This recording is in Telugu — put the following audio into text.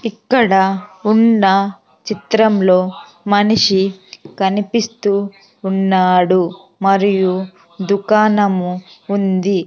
ఇక్కడ ఉన్న చిత్రంలో మనిషి కనిపిస్తూ ఉన్నాడు మరియు దుకాణము ఉంది .